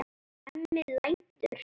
Hemmi lætur.